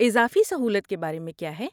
اضافی سہولت کے بارے میں کیا ہے؟